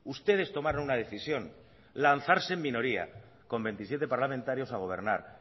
ustedes tomaron una decisión lanzarse en minoría con veintisiete parlamentario a gobernar